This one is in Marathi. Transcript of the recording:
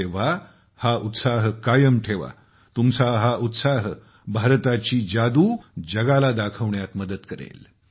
तेव्हा हा उत्साह कायम ठेवा तुमचा हा उत्साह भारताची जादू जगाला दाखवण्यात मदत करेल